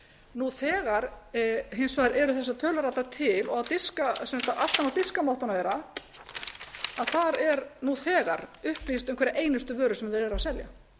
nú þegar hins vegar eru þessar tölur orðnar til og aftan á diskamottunum þeirra er nú þegar upplýst um hverja einustu vöru sem verið er að selja